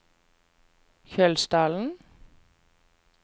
Kjølsdalen